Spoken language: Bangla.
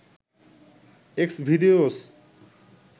এক্সভিদেওস